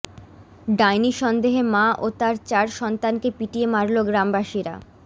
ডাইনি সন্দেহে মা ও তাঁর চার সন্তানকে পিটিয়ে মারল গ্রামবাসীরা